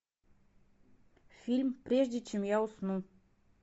фильм прежде чем я усну